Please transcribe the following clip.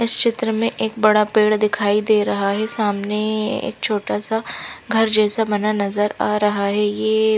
इस चित्र में एक बड़ा पेड़ दिखाई दे रहा है सामने एक छोटा सा घर जैसा नज़र आ रहा है ये--